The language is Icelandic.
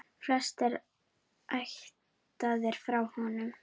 Flestir ættaðir frá honum.